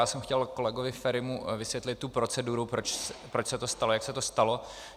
Já jsem chtěl kolegovi Ferimu vysvětlit tu proceduru, proč se to stalo, jak se to stalo.